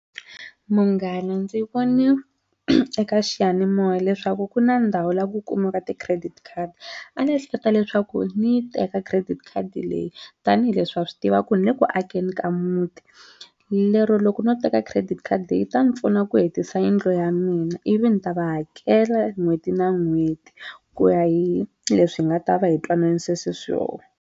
Munghana ndzi voni eka xiyanimoya leswaku ku na ndhawu la ku kumiwaka ti-credit card, a ni ehleketa leswaku ni yi teka credit khadi leyi tanihileswi wa swi tiva ku ni le ku akeni ka muti lero loko no teka credit khadi yi ta ni pfuna ku hetisa yindlu ya mina ivi ni ta va hakela n'hweti na n'hweti ku ya hi leswi hi nga ta va hi twananise swi swoho.